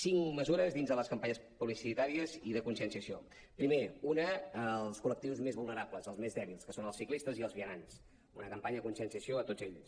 cinc mesures dins de les campanyes publicitàries i de conscienciació primer una als col·lectius més vulnerables als més dèbils que són els ciclistes i els vianants una campanya de conscienciació a tots ells